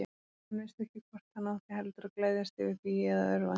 Hann vissi ekki hvort hann átti heldur að gleðjast yfir því eða örvænta.